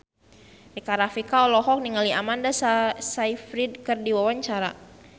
Rika Rafika olohok ningali Amanda Sayfried keur diwawancara